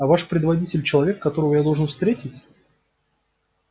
а ваш предводитель человек которого я должен встретить